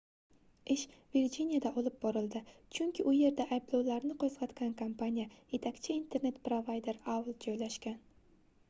ish virjiniyada olib borildi chunki u yerda ayblovlarni qoʻzgʻatgan kompaniya yetakchi internet provayder aol joylashgan